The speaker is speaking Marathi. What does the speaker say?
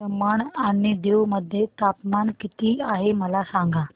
दमण आणि दीव मध्ये तापमान किती आहे मला सांगा